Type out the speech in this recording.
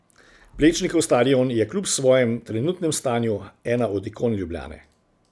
Plečnikov stadion je kljub svojem trenutnem stanju ena od ikon Ljubljane.